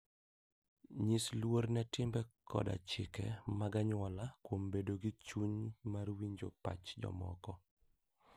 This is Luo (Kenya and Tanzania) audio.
Nyis luor ne timbe koda chike mag anyuola kuom bedo gi chuny mar winjo pach jomoko.